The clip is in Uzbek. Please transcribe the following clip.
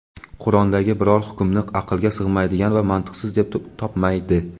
Qur’ondagi biror hukmni aqlga sig‘maydigan va mantiqsiz deb topmaydi.